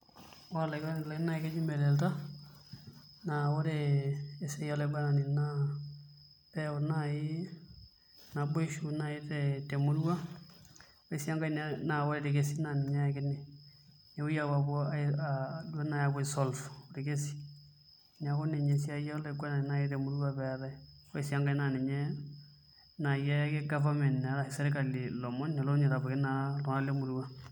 Ore olaiguanani lai naa keji melelta. Naa ore esiai olaiguanani naa pee eyau naaji naboisho naaji temurua ore sii enkae ore irkesin naa ninye ayakini. Nepuoi naaji apuo aisolve orkesi neeku ninye esiai olaiguanani naaji temurua pee eetae. Ore sii enkae naa ninye naaji eyaki government ashu sirkali lomon nelo naa ninye aitabaiki iltunganak lemurua.